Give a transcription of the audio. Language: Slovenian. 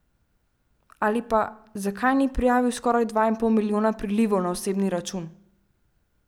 Ali pa, zakaj ni prijavil skoraj dva in pol milijona prilivov na osebni račun?